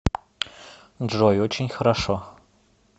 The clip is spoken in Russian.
джой очень хорошо